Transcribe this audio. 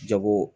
Jago